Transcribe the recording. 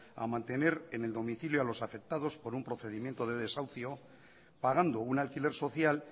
a mantener en el domicilio a los afectados por un procedimiento de desahucio pagando un alquiler social